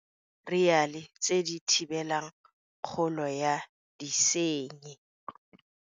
Dimetheriale tse di thibelang kgolo ya disenyi.